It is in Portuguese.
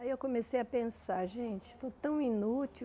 Aí eu comecei a pensar, gente, estou tão inútil.